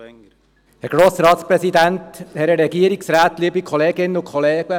Als erstes spricht Grossrat Wenger für die EVP-Fraktion.